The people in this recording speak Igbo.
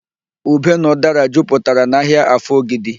Ube na ụdara juputara n'ahịa Afọ Ogidi